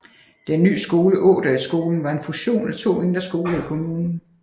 Den ny skole Ådalsskolen var en fusion af to mindre skoler i kommunen